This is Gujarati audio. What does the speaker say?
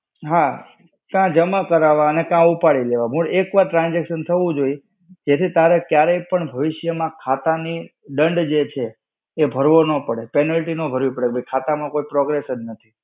હા. કાં જમા કરાવવા કાં ઉપાડી લેવા. મૂળ એક વાર transaction થવું જોઈએ જેથી તારે ક્યારેય પણ ભવિષ્ય માં, ખાતા ની દંડ જે છે, એ ભરવો ન પડે, penalty ન ભરવી પડે કે ખાતા માં કોઈ progress જ નથી.